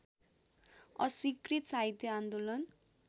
अस्वीकृत साहित्य आन्दोलन